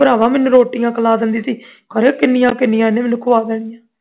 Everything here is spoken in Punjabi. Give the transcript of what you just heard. ਭਰਾਵਾ ਮੈਨੂੰ ਰੋਟੀ ਖੁਆ ਦਿੰਦੀ ਸੀ ਖਰੇ ਕਿੰਨੀਆਂ ਕਿੰਨੀਆਂ ਇਹਨੇ ਮੈਨੂੰ ਖਵਾ ਦੇਣੀਆਂ